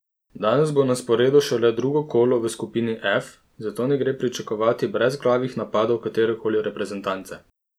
Danes bo na sporedu šele drugo kolo v skupini F, zato ne gre pričakovati brezglavih napadov katerekoli reprezentance.